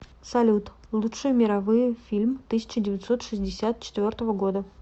салют лучшие мировые фильм тысяча девятьсот шестьдесят четвертого года